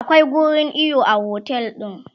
akwai wurin iyo a otel ɗin